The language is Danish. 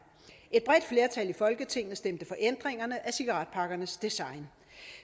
et bredt flertal i folketinget stemte for ændringerne af cigaretpakkernes design